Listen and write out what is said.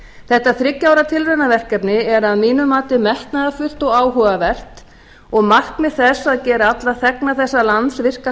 þetta þriggja ára tilraunaverkefni er að mínu mati metnaðarfullt og áhugavert og markmið þess að gera alla þegna þessa lands virka